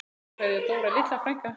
Kær kveðja, Dóra litla frænka.